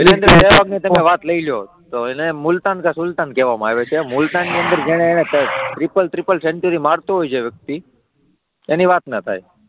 વાત લઈ લો તો એમને મુલતાન કા સુલ્તાન કહેવામાં આવે છે, મુલતાન ની અંદર જેને ત્રિપલ ત્રિપલ સેન્ચુરી મારતો હોય છે જે વ્યક્તિ એની વાત ના થાય.